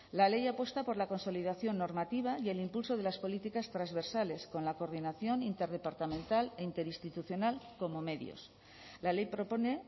la ley apuesta por la consolidación normativa y el impulso de las políticas transversales con la coordinación interdepartamental e interinstitucional como medios la ley propone